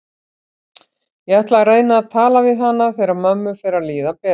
Ég ætla að reyna að tala við hana þegar mömmu fer að líða betur.